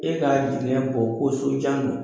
E k'a jiginɛ bɔ ko sojan don